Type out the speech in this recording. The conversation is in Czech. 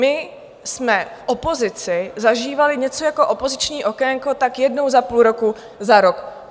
My jsme v opozici zažívali něco jako opoziční okénko tak jednou za půl roku, za rok.